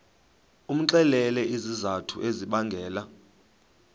umxelele izizathu ezibangela